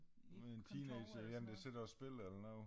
En teenager én der sidder og spiller eller noget